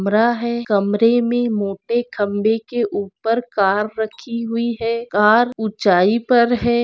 कमरा है कमरे मे मोटे खंबे के उपर कार रखी हुई है कार ऊँचाई पर है।